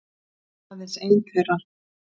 Aðeins ein þeirra.